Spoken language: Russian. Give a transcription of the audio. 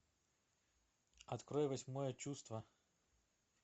открой восьмое чувство